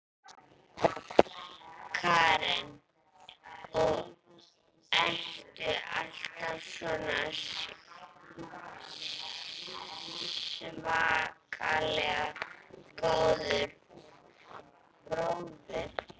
Karen: Og ertu alltaf svona svakalega góður bróðir?